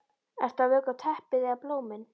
Ert að vökva teppið eða blómin?